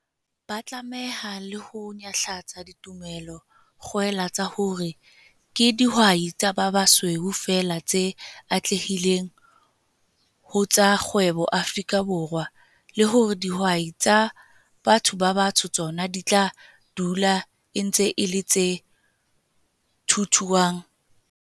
Ba tlameha le ho nyahlatsa ditumelo-kgwela tsa hore ke dihwai tsa ba basweu feela tse atlehileng ho tsa kgwebo Afrika Borwa, le hore dihwai tsa batho ba batsho tsona di tla dula e ntse e le 'tse thuthuang.'